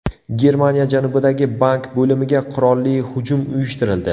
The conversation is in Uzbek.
Germaniya janubidagi bank bo‘limiga qurolli hujum uyushtirildi.